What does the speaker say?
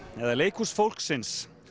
eða leikhús fólksins